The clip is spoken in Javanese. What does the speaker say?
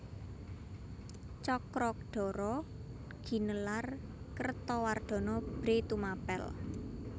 Cakradhara ginelar Kertawardhana Bhre Tumapèl